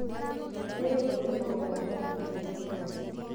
Nĩ rĩ bũrũri wa Uganda wagĩire wĩyathi?